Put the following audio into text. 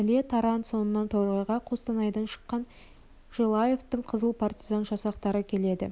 іле таран соңынан торғайға қостанайдан шыққан желаевтың қызыл партизан жасақтары келеді